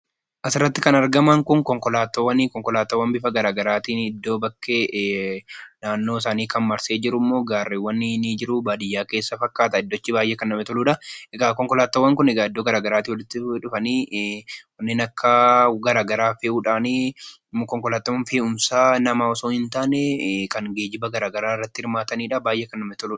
Asirratti kan argaman kun konkolaataawwani. Konkolaataawwan bifa gara garaatiin iddoo bakkee naannoo isaanii kan marsanii jiran gaarreewwan ni jiru. Baadiyyaa keessa fakkaata iddochi baay'ee kan namatti toludha. Konkolaataawwan kun iddoo gara garaa irraa kan dhufan wantoota gara garaa fe'uudhaan. konkolaataan fe'umsaa nama otoo hin ta'iin kan geejjiba gara garaa irratti hirmaatanidha. baay'ee kan namatti toludha.